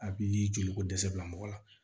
A bi joli ko dɛsɛ bila mɔgɔ la